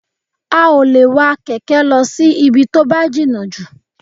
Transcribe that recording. A ò lè wa kẹ̀kẹ́ lọ sí ibi tó bá jìnnà jù